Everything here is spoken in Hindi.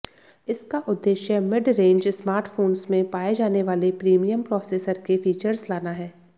इसका उद्देश्य मिड रेंज स्मार्टफोंस में पाए जाने वाले प्रीमियम प्रोसेसर के फीचर्स लाना है